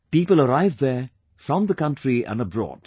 People arrive there from the country and abroad